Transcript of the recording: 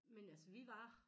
Men altså vi var